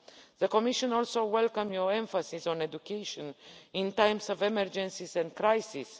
The Commission also welcomes your emphasis on education in times of emergencies and crisis.